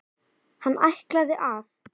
Hann ætlaði að.